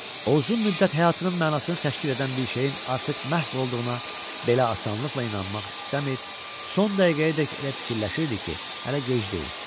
O uzun müddət həyatının mənasını təşkil edən bir şeyin artıq məhv olduğuna belə asanlıqla inanmaq istəmir, son dəqiqəyədək elə fikirləşirdi ki, hələ gec deyil.